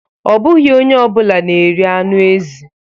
Ọ bụghị onye ọ bụla na-eri anụ ezi